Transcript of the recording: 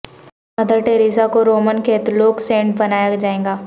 mother Teresa کو Roman Catholic saint بنایا جائے گا